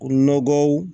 O nɔgɔw